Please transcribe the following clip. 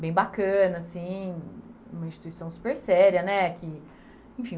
bem bacana, sim, uma instituição super séria né, que, enfim